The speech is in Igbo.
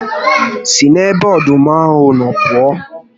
Si n'ebe ọdụm ahụ nọ pụọ